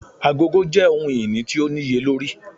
Agogo jẹ ohun-ini ti o niyelori.